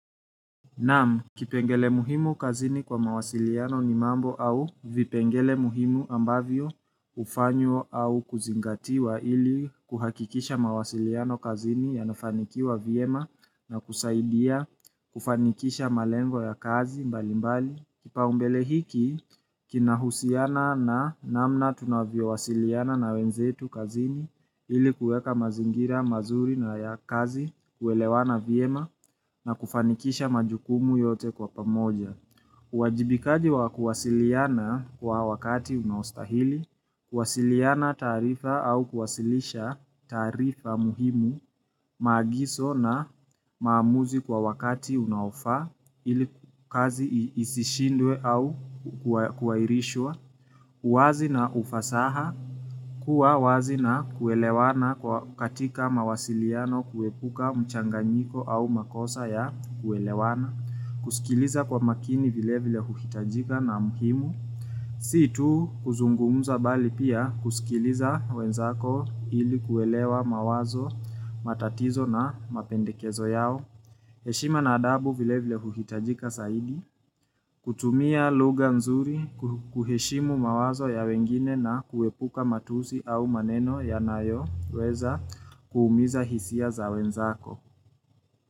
Naam, kipengele muhimu kazini kwa mawasiliano ni mambo au vipengele muhimu ambavyo hufanywa au kuzingatiwa ili kuhakikisha mawasiliano kazini yanafanikiwa vyema na kusaidia kufanikisha malengo ya kazi mbali mbali. Kipaumbele hiki, kinahusiana na namna tunavyowasiliana na wenzetu kazini ili kuweka mazingira mazuri na ya kazi, kuelewana vyema na kufanikisha majukumu yote kwa pamoja. Uwajibikaji wa kuwasiliana kwa wakati unaostahili, kuwasiliana taarifa au kuwasilisha taarifa muhimu maagiso na maamuzi kwa wakati unaofaa ili kazi isishindwe au kuahirishwa. Uwazi na ufasaha, kuwa wazi na kuelewana katika mawasiliano kuepuka mchanganyiko au makosa ya kuelewana. Kusikiliza kwa makini vile vile huhitajika na muhimu Si tu kuzungumza bali pia kusikiliza wenzako ili kuelewa mawazo, matatizo na mapendekezo yao heshima na adabu vile vile huhitajika zaidi kutumia lugha nzuri, kuheshimu mawazo ya wengine na kuepuka matusi au maneno yanayoweza kuumiza hisia za wenzako.